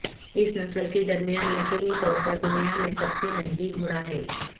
اس نسل کے درمیان یقینی طور پر دنیا میں سب سے مہنگی گھوڑا ہے